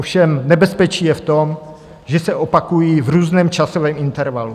Ovšem nebezpečí je v tom, že se opakují v různém časovém intervalu.